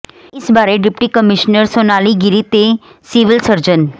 ਇਸ ਬਾਰੇ deputy commissioner Sonali Giri ਤੇ ਸਿਵਲ ਸਰਜਨ ਡਾ